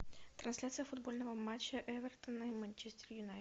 трансляция футбольного матча эвертона и манчестер юнайтед